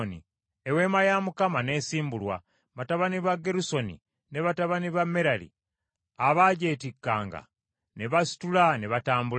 Eweema ya Mukama n’esimbulwa, batabani ba Gerusoni ne batabani ba Merali abaagyetikkanga ne basitula ne batambula.